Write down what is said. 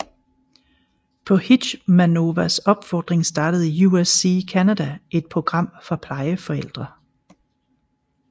På Hitschmanovas opfordring startede USC Canada et program for plejeforældre